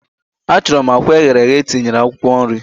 Achorom akwa eghere eghe etinyere akwukwo nri